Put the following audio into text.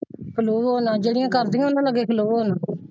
ਖਲੋਵੋ ਨਾ ਜਿਹੜੀਆਂ ਕਰਦਿਆਂ ਨੇ ਉਹਨੇ ਦੇ ਅੱਗੇ ਖਲੋਵੋ ਨਾ।